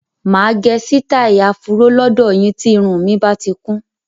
Máa gẹ sitai afuro lọdọ yín tí irun mi bati kún.